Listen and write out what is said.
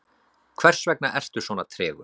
hversvegna ertu svona tregur